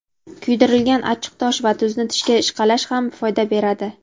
Kuydirilgan achchiqtosh va tuzni tishga ishqalash ham foyda beradi.